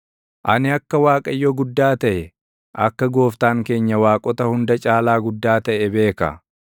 Ani akka Waaqayyo guddaa taʼe, akka Gooftaan keenya waaqota hunda caalaa guddaa taʼe beeka.